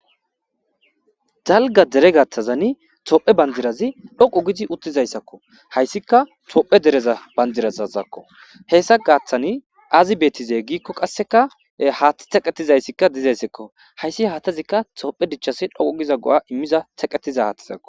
Dalga deere gathan dhoqu giidi uttizaysakohaysika tophiya deereza bandirazaka hessa gaatha I aazi berizze gikon qassekahathi teqetizaysika dizaysako haysi hathezika tophiya dichas dhoqu vida go'a imiza haathazakko.